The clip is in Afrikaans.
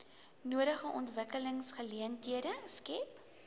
nodige ontwikkelingsgeleenthede skep